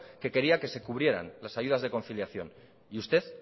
que quería que se cubrieran las ayudas de conciliación y usted